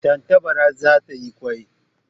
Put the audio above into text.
Tantabara za ta yi kwai